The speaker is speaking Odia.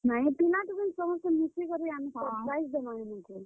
ନାଇଁ ପିଲା, ଟୁକେଲ୍ ସମସ୍ତେ ମିଶି କରି ଆମେ surprise ଦେମା ହେମାନ୍ ଙ୍କୁ।